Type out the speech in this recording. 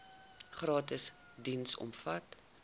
gratis diens omvat